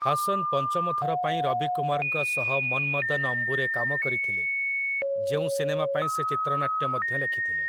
ହାସନ୍ ପଞ୍ଚମ ଥର ପାଇଁ ରବିକୁମାରଙ୍କ ସହ 'ମନମଦନ ଅମ୍ବୁ'ରେ କାମ କରିଥିଲେ, ଯେଉଁ ସିନେମା ପାଇଁ ସେ ଚିତ୍ରନାଟ୍ୟ ମଧ୍ୟ ଲେଖିଥିଲେ ।